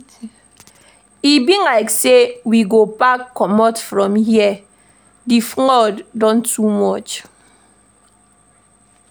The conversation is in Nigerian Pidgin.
E be like sey we go pack comot from here, di flood don too much.